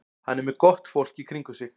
Hann er með gott fólk í kringum sig.